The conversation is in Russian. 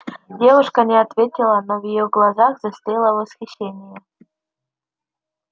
девушка не ответила но в её глазах застыло восхищение